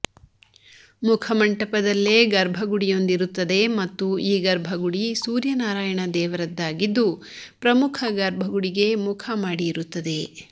ಮುಖಮಂಟಪದಲ್ಲೇ ಗರ್ಭಗುಡಿಯೊಂದಿರುತ್ತದೆ ಮತ್ತು ಈ ಗರ್ಭಗುಡಿ ಸೂರ್ಯನಾರಾಯಣ ದೇವರದ್ದಾಗಿದ್ದು ಪ್ರಮುಖ ಗರ್ಭಗುಡಿಗೆ ಮುಖ ಮಾಡಿ ಇರುತ್ತದೆ